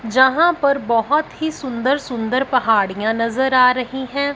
जहां पर बहोत ही सुंदर सुंदर पहाड़ियां नजर आ रही है।